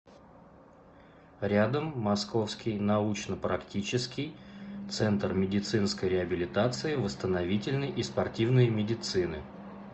рядом московский научно практический центр медицинской реабилитации восстановительной и спортивной медицины